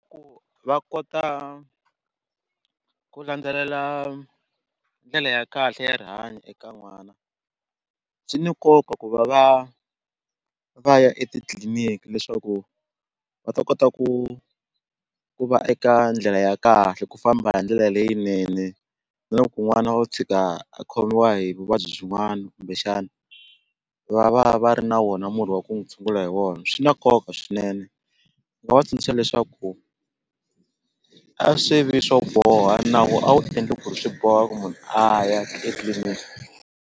va kota ku landzelela ndlele ya kahle ya rihanyo eka n'wana swi ni nkoka ku va va va ya etitliliniki leswaku va ta kota ku ku va eka ndlela ya kahle ku famba hi ndlela leyinene na loko n'wana o tshika a khomiwa hi vuvabyi byin'wani kumbexana va va va ri na wona murhi wa ku n'wu tshungula hi wona swi na nkoka swinene ndzi nga va tsundzuxa leswaku a swi vi swo boha nawu a wu endli ku ri swi boha ku munhu a ya etliliniki.